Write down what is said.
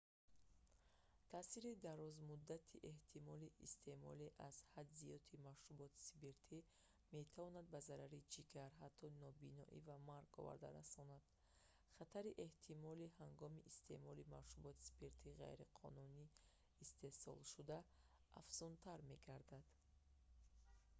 таъсири дарозмуддати эҳтимолии истеъмоли аз ҳад зиёди машруботи спиртӣ метавонад ба зарари ҷигар ҳатто нобиноӣ ва марг оварда расонад хатари эҳтимолӣ ҳангоми истеъмоли машруботи спиртии ғайриқонунӣ истеҳсолшуда афзунтар мегардад